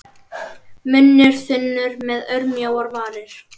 Munnur þunnur með örmjóar varir.